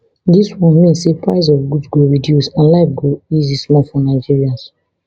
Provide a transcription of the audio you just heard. dis one mean say price of goods go reduce and life go easy small for nigerians